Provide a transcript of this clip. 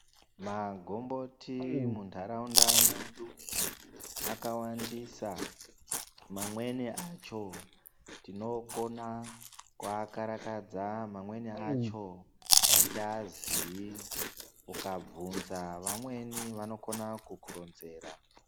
Magomboti muntaraunda mwedu akawandisa. Mamweni acho tinokona kuakarakadza mamweni acho atiazii ukabvunza vamweni vanokona kukuronzera.